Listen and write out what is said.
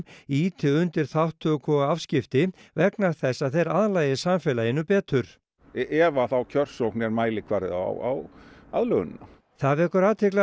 ýti undir þátttöku og afskipti vegna þess að þeir aðlagist samfélaginu betur ef að þá kjörsókn er mælikvarði á aðlögunina það vekur athygli